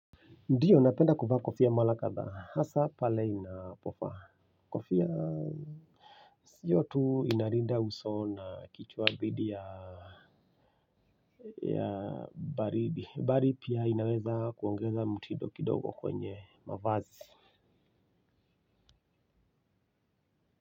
Ndiyo napenda kuvaa kofia mara kadhaa hasa pale inapofaa kofia sio tu inalinda uso na kichwa dhidi ya ya baridi bali pia inaweza kuongeza mtindo kidogo kwenye mavazi.